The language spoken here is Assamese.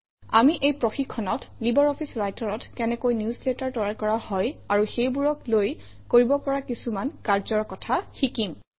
আমি এই প্ৰশিক্ষণত লাইব্ৰঅফিছ Writer অত কেনেকৈ নিউজলেটাৰ তৈয়াৰ কৰা হয় আৰু সেইবোৰক লৈ কৰিব পৰা কিছুমান কাৰ্যৰ কথা শিকিম